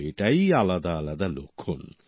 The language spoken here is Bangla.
তো এটাই আলাদা আলাদা লক্ষণ